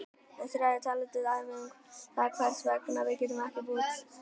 Þessi ræða er talandi dæmi um það hvers vegna við getum ekki búið saman.